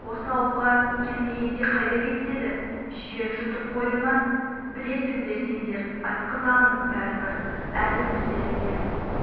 осы ауылға келмегенде қайда кетеді жер жұтып қойды ма білесіңдер сендер айтқызамын бәрібір әлі өздерің келіп